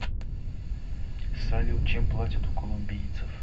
салют чем платят у колумбийцев